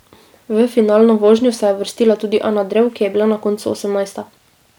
V finalno vožnjo se je uvrstila tudi Ana Drev, ki je bila na koncu osemnajsta.